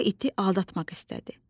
O iti aldatmaq istədi.